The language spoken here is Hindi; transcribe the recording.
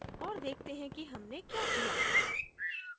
और देखते हैं कि हमने क्या किया